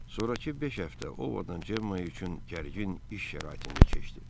Sonrakı beş həftə Ovodan Cemma üçün gərgin iş şəraitində keçdi.